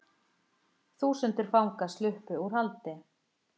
Þúsundir fanga sluppu úr haldi